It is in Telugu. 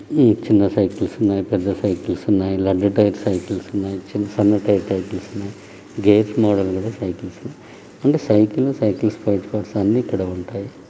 ఈ చిన్న సైకిల్స్ ఉన్నయ్. పెద్ద సైకిల్స్ ఉన్నయ్.